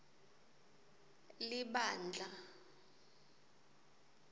libandla